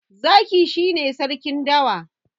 Zaki shi ne sarkin dawa.